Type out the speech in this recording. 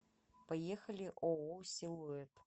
поехали ооо силуэт